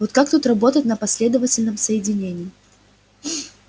вот как тут работать на последовательном соединении